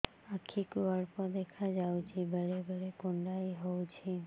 ଆଖି କୁ ଅଳ୍ପ ଦେଖା ଯାଉଛି ବେଳେ ବେଳେ କୁଣ୍ଡାଇ ହଉଛି